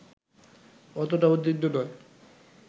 অতটা উদ্বিগ্ন নয়